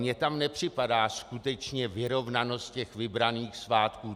Mně tam nepřipadá skutečně vyrovnanost těch vybraných svátků.